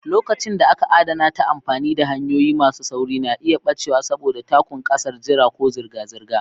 Lokacin da aka adana ta amfani da hanyoyi masu sauri na iya ɓacewa saboda takun sakar jira ko zirga-zirga.